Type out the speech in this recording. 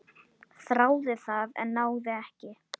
Þráði það, en náði ekki.